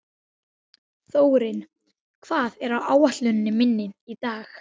Af hverju var þetta svona ömurlegt líf?